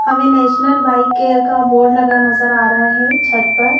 हमें national bike care का board लगा नजर आ रहा है छत पर--